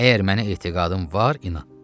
Əgər mənə etiqadın var, inan.